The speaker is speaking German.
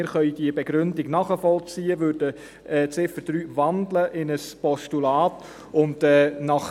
Wir können die Begründung nachvollziehen und würden die Ziffer 3 in ein Postulat wandeln.